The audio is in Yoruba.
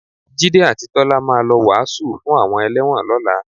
Jídé àti Tọ́lá máa lọ wàásù fún àwọn ẹlẹ́wọ̀n lọ́la